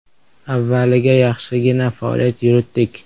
Avvaliga yaxshigina faoliyat yuritdik.